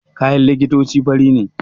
Kayan likitoci fari ne